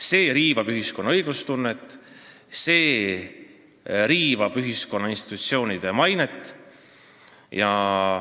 See riivab ühiskonna õiglustunnet ja institutsioonide mainet.